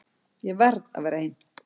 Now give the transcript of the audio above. Ég verð að vera ein.